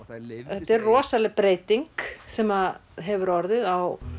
þetta er rosaleg breyting sem hefur orðið á